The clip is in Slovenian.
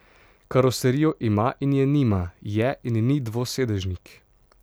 Karoserijo ima in je nima, je in ni dvosedežnik.